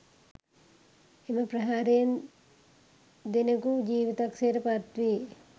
එම ප්‍රහාරයෙන් දෙනකු ජීවිතක්ෂයට පත් වී